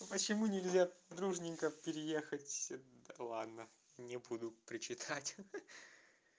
почему нельзя дружненько переехать ладно не буду причитать ха-ха